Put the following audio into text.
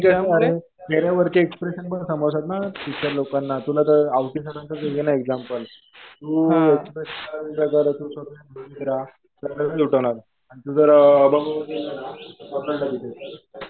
आणि चेहऱ्यावरचे एक्स्प्रेशन पण समजतात ना टीचर लोकांना. तुला तर आवटे सरांचं घेणं एक्झाम्पल. तु एक्स्प्रेस तुला लगेच उठवणार ते. आणि तु जर बरोबर केलं ना मग नाही लगेच उठवणार.